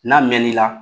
N'a mɛn n'i la